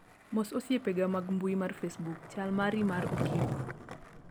mos osiepega mag mbui mar facebook chal mari mar okinyi